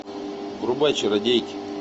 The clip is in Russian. врубай чародейки